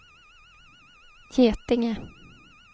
Getinge